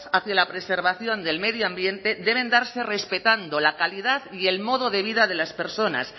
hacia la preservación del medio ambiente deben darse respetando la calidad y el modo de vida de las personas